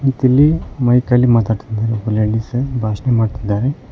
ಮತ್ತ್ ಇಲ್ಲಿ ಮೈಕಲ್ಲಿ ಮಾತಾಡ್ತಿದಾರೆ ಒಬ್ಬ ಲೇಡೀಸ್ ಭಾಷಣ ಮಾಡ್ತಿದ್ದಾರೆ.